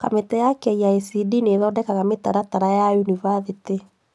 Kamĩtĩ ya KICD nĩthondekaga mĩtaratara ya Yunibathĩtĩ